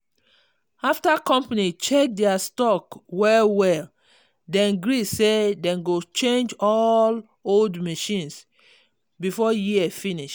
after company check their stock well well dem gree say dem go change all old machines before year finish.